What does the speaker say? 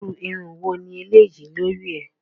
Irú irun wo ni eléyi lórí ẹ?